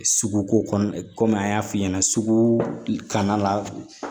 Suguko kɔnɔ komi an y'a f'i ɲɛna sugu kanna